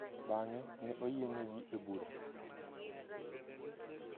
Bang’e, ne oyienegi e bura.